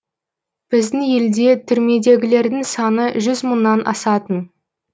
біздің елде түрмедегілердің саны жүз мыңнан асатын